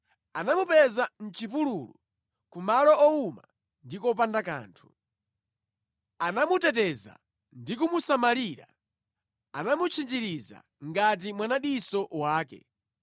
Anamupeza mʼchipululu, ku malo owuma ndi kopanda kanthu. Anamuteteza ndi kumusamalira; anamutchinjiriza ngati mwanadiso wake,